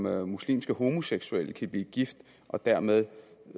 at muslimske homoseksuelle kan blive gift og dermed